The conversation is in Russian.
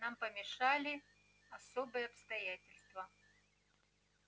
нам помешали особые обстоятельства